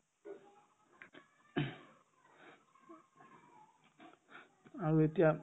আৰু এতিয়া